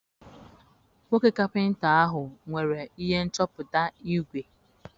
Nwoke kapịnta ahụ nwere ihe nchọpụta igwe.